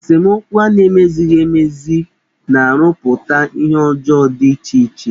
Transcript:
Esemokwu a na-emezighi emezi na-arụputa ihe ọjọọ dị iche iche.